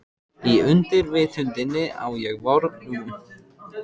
Í undirvitundinni á ég von á barsmíð.